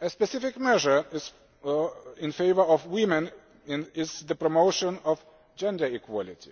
A specific measure in favour of women is the promotion of gender equality